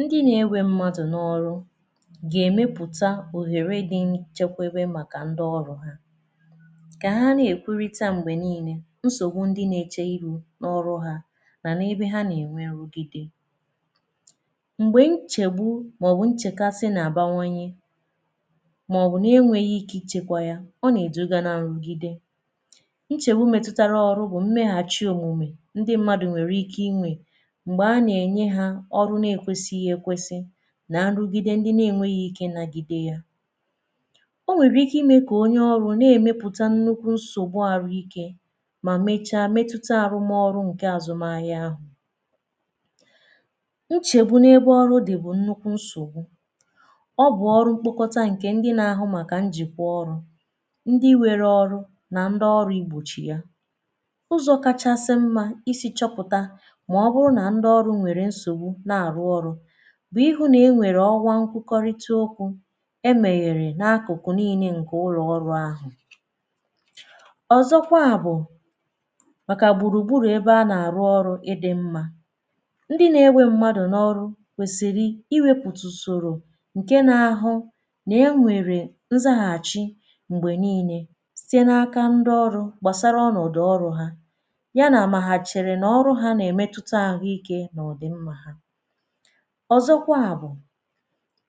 Ndị na-ewe mmadụ̀ n’ọrụ̀ ga-emeputà ohere dị nchekwabe makà ndị ọrụ̀ ha ka ha na-ekwurità m̄gbe niine nsogbu ndị na-eche iru n’ọrụ̀ ha manà ebe ha na-enwe nrugidè ṃgbe nchegbù maọ̀bụ̀ nchekasị na-abawanyè maọbụ̀ na-enweghì ike ichekwa yà ọ na-edugà na nrugidè nchegbù metutarà ọrụ̀ bụ̀ mmeghachì omumè ndị mmadụ̀ nwere ike inwè m̄gbe a na-enye ha ọrụ̀ na-ekwesighì ekwesì na nrugide ndị na-enweghì ke ịnagide yà o nwere ike ime ka onye ọrụ̀ na-emeputà nnukwu nsogbù arụ̀ ike ma mechà metutà arụma ọrụ̀ nke azụmà ahịà ahụ̀ nchegbù n’ebe ọrụ̀ dị bụ̀ nnukwu nsogbù ọ bụ̀ ọrụ̀ mkpokotà nke ndị na-ahụ njiko ọrụ̀ ndị were ọrụ̀ na ndị ọrụ̀ igbochi yà ụzọ kachasị mmà iji chọpụtà maọ̀bụ̀rụ̀ na ndị ọrụ̀ nwere nsogbù na-arụ ọrụ̀ bụ ihu na-enwere ọwà nkwukọrịtà okwù emeghere n’akụkụ̀ niine nke ụlọ̀ ọrụ̀ ahụ̀ ọzọkwà bụ̀ makà gburugburu ebe a na-arụ̀ ọrụ̀ ịdị mmà ndị na-ewe mmadụ̀ n’ọrụ̀ kwesiri iweputà usorò nke na-ahụ̀ na-enwerè nzaghachì m̄gbe niine sitē n’akà ndị ọrụ̀ gbasarà ọnọdụ̀ ọrụ̀ ha ya na ma ha chere n’ọrụ̀ ha na-emetutà ahụike na ọdị mmà ọzọkwà bụ̀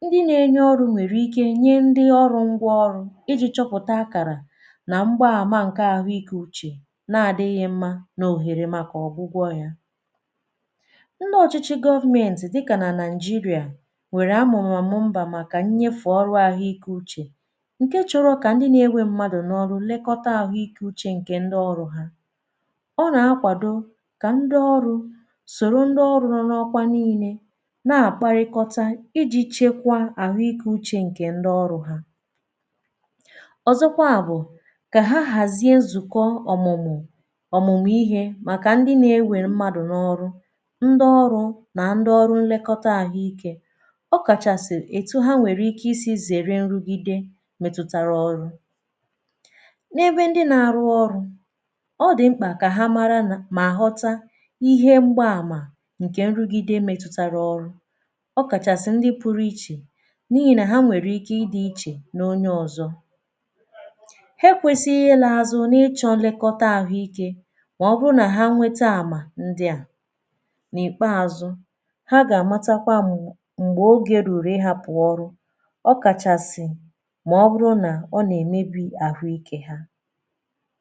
ndị na-enyere ọrụ̀ nwere ike nye ndị ọrụ̀ ngwa ọrụ̀ iji chọpụtà akarà na m̄gba amà ahụike uchè na adịghị̀ mmà n’ohere makà ọgwụ gwọ̀ yà ndị ọchịchị̀ government dịkà na Naijiria nwere amụmà ọmụmbà makà nyefe ọrụ̀ ahụike uchè nke chọrọ ka ndị na-ewe mmadụ̀ n’ọrụ̀ lekotà ahụi ke uche nke ndị ọrụ ha ọ na-akwadò ka ndị ọrụ̀ soro ndị ọrụ̀ rụọ n’ọkwà niine na-akparịkọtà iji chekwà ahụike uche nke ndị ọrụ̀ ha ọzọkwà bụ̀ ka ha hazie nzuko ọmụmụ̀ ọmụmụ̀ ihe makà ndị̀ na-ewe mmadụ̀ n’ọrụ̀ ndị ọrụ na ndị ọrù nlekotà ahụike ọ kachasị̀ etù ha nwere ike i si zerè nrugide metutarà ọrụ̀ n’ebe ndị na-arụ̀ ọrụ̀ ọ dị m̄kpà ka ha marà nà ma ghọtà ihe m̄gba amà nke nrugide metutarà ọrụ̀ ọ kachasị̀ ndị pụrụ ichè n’ihi na ha nwere ike ịdị ichè n’onye ọzọ̀ ha ekwesighì ịlà azụ̀ n’ịchọ̀ nlekotà ahụike maọ̀bụ̀ na ha nwetà amà ndị̀ à n’ikpeazụ̀ ha ga-amakwà m m̄gbe oge ruru ịhapụ̀ ọrụ̀ ọkachasị̀ maọ̀bụ̀rụ̀ na ọ na-emebi ahụike ha